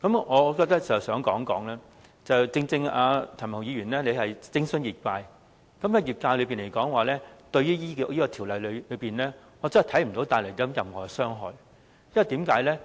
我想指出，正正因為譚文豪議員徵詢的是業界，對於業界來說，我看不到《條例草案》會帶來任何傷害，為甚麼呢？